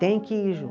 Tem que ir